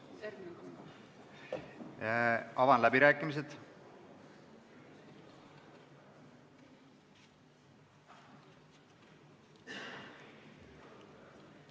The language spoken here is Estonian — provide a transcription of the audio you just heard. Avan läbirääkimised.